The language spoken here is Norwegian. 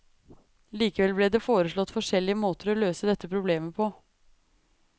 Likevel ble det foreslått forskjellige måter å løse dette problemet på.